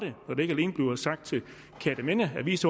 når det ikke alene bliver sagt til kjerteminde avis